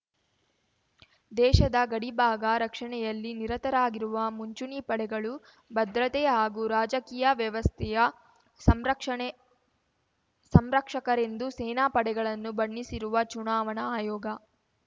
ದೇಶದ ಗಡಿಭಾಗ ರಕ್ಷಣೆಯಲ್ಲಿ ನಿರತರಾಗಿರುವ ಮುಂಚೂಣಿ ಪಡೆಗಳು ಭದ್ರತೆ ಹಾಗೂ ರಾಜಕೀಯ ವ್ಯವಸ್ಥೆಯ ಸಂರಕ್ಷಣೆ ಸಂರಕ್ಷಕರೆಂದು ಸೇನಾ ಪಡೆಗಳನ್ನು ಬಣ್ಣಿಸಿರುವ ಚುನಾವಣಾ ಆಯೋಗ